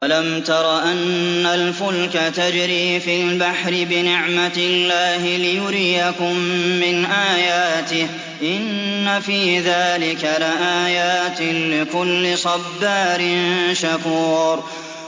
أَلَمْ تَرَ أَنَّ الْفُلْكَ تَجْرِي فِي الْبَحْرِ بِنِعْمَتِ اللَّهِ لِيُرِيَكُم مِّنْ آيَاتِهِ ۚ إِنَّ فِي ذَٰلِكَ لَآيَاتٍ لِّكُلِّ صَبَّارٍ شَكُورٍ